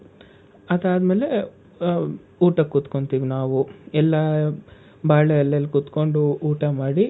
ಅದಾದ್ಮೇಲೆ, ಊಟಕ್ ಕೂತ್ಕೊಂತಿವಿ ನಾವು ಎಲ್ಲಾ ಬಾಳೆ ಎಲೆಯಲ್ಲಿ ಕುತ್ಕೊಂಡು ಊಟ ಮಾಡಿ,